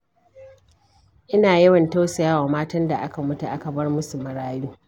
Ina yawan tausayawa matan da aka mutu aka bar musu marayu.